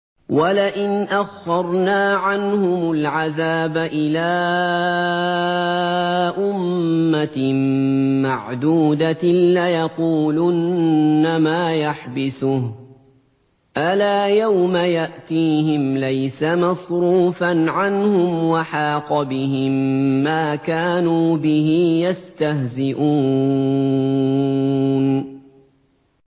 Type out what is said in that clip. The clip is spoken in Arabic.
وَلَئِنْ أَخَّرْنَا عَنْهُمُ الْعَذَابَ إِلَىٰ أُمَّةٍ مَّعْدُودَةٍ لَّيَقُولُنَّ مَا يَحْبِسُهُ ۗ أَلَا يَوْمَ يَأْتِيهِمْ لَيْسَ مَصْرُوفًا عَنْهُمْ وَحَاقَ بِهِم مَّا كَانُوا بِهِ يَسْتَهْزِئُونَ